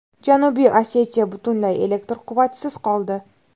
Janubiy Osetiya butunlay elektr quvvatisiz qoldi.